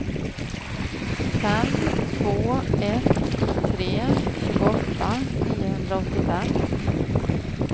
fem två ett tre tjugoåtta niohundraåttiofem